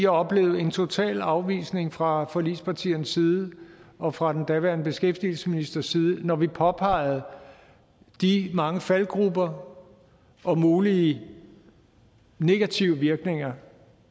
oplevede en total afvisning fra forligspartiernes side og fra den daværende beskæftigelsesministers side når vi påpegede de mange faldgruber og mulige negative virkninger